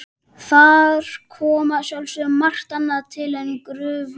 Þar kom að sjálfsögðu margt annað til en gruflið.